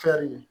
Fɛɛrɛ